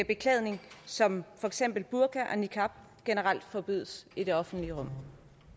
beklædning som for eksempel burka og niqab generelt forbydes i det offentlige rum